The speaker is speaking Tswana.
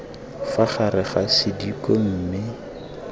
fa gare ga sediko mme